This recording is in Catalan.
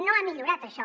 no ha millorat això